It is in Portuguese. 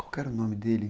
Qual era o nome dele?